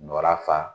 Nɔrɔya fa